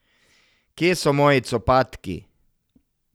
Kje so moji copatki?